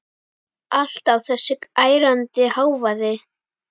Alltaf þessi ærandi hávaði.